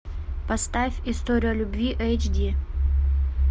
поставь история любви эйч ди